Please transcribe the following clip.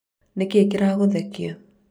nĩkĩĩ kĩragũthekia?